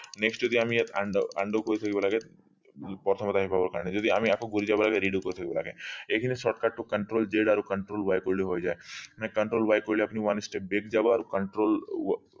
next যদি আমি ইয়াত undo undo কৰি থব লাগে প্ৰথমত আহি পাব কাৰণে যদি আমি আকৌ গুৰি যাব লাগে redo কৰি থব লগে এইখিনি shortcut টো control z কৰিলে হৈ যা control y কৰিলে হৈ যায় control y কৰিলে আপুনি one step back যাব আৰু control